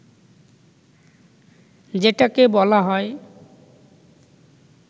যেটাকে বলা হয়